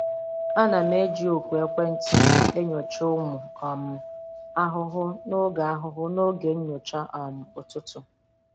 Ana m eji ọkụ ekwentị m enyocha ụmụ um ahụhụ n'oge ahụhụ n'oge nyocha um ụtụtụ.